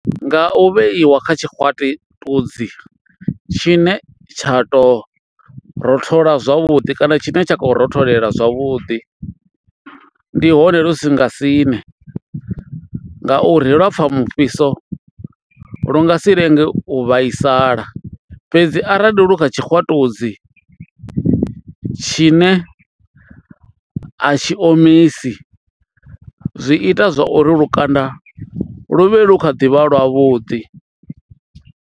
Nga u vheiwa kha tshikwatiludzi tshine tsha to rothola zwavhuḓi kana tshine tsha khou rotholela zwavhuḓi ndihone lu si nga siṋe ngauri lwa pfha mufhiso lu nga si lenge u vhaisala fhedzi arali lu kha tshikwatudzi tshine a tshi omisi zwi ita zwauri lukanda lu vhe lu kha ḓi vha lwavhuḓi.